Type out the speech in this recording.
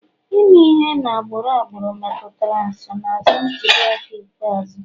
Ime ihe na agbụrụ agbụrụ metụtara nsonaazụ ntuli aka ikpeazụ